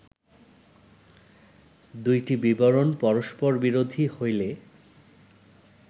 দুইটি বিবরণ পরস্পরবিরোধী হইলে